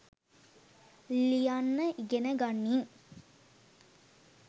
ලියන්න ඉගෙනගනින්